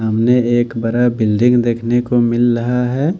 सामने एक बरा बिल्डिंग देखने को मिल रहा है।